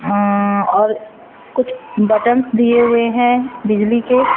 अं और कुछ बटन्स दिए हुए है बिजली के--